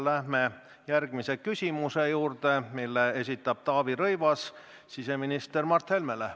Läheme järgmise küsimuse juurde, mille esitab Taavi Rõivas siseminister Mart Helmele.